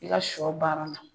I ka sɔ baara la